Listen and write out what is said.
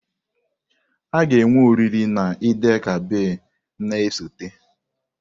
A ga-enwe oriri na Eid-el-Kabir na-esote.